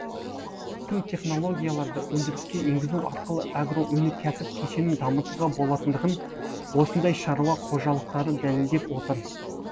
тың технологияларды өндіріске енгізу арқылы агроөнеркәсіп кешенін дамытуға болатындығын осындай шаруа қожалықтары дәлелдеп отыр